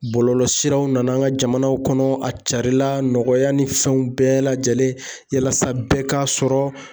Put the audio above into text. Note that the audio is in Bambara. Bɔlɔlɔsiraw nana an ka jamana kɔnɔ a carila nɔgɔya ni fɛnw bɛɛ lajɛlen yalasa bɛɛ k'a sɔrɔ.